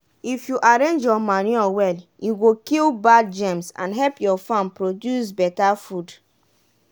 if you arrange your manure well e go kill bad germs and help your farm produce beta food.